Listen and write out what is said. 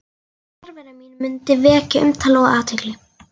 Fjarvera mín mundi vekja umtal og athygli.